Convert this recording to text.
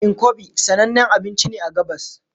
Nkwobi sanannen abinci ne a gabas